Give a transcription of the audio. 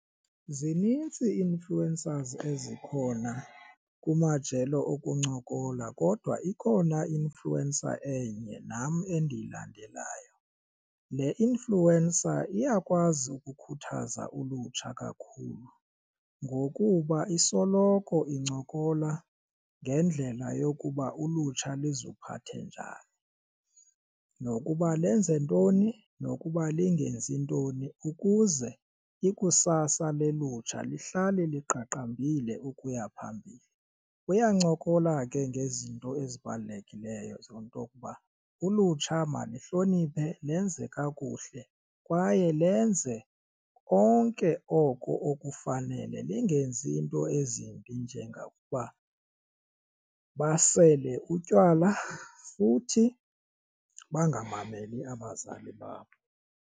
Zinintsi ii-influencers ezikhona kumajelo okuncokola kodwa ikhona i-influencer enye nam endiyilandelayo. Le influencer iyakwazi ukukhuthaza ulutsha kakhulu ngokuba isoloko incokola ngendlela yokuba ulutsha luziphathe njani nokuba lenze ntoni nokuba lingenzi ntoni ukuze ikusasa lolutsha luhlale liqaqambile ukuya phambili. Uyancokola ke ngezinto ezibalulekileyo zeento ukuba ulutsha maluhloniphe lenze kakuhle kwaye lenze konke oko okufanele lingenzi iinto ezimbi njengokuba basele utywala futhi bangamameli abazali babo.